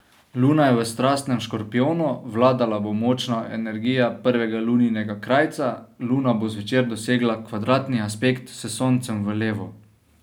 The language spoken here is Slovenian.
Luna je v strastnem škorpijonu, vladala bo močna energija prvega luninega krajca, luna bo zvečer dosegla kvadratni aspekt s Soncem v levu.